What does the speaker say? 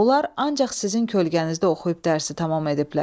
Onlar ancaq sizin kölgənizdə oxuyub dərsi tamam ediblər.